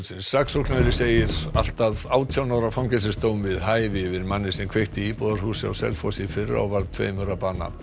saksóknari segir allt að átján ára fangelsisdóm við hæfi yfir manni sem kveikti í íbúðarhúsi á Selfossi í fyrra og varð tveimur að bana